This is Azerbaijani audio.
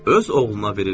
Öz oğluna verir.